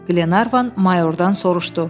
Qlenarvan mayordan soruşdu.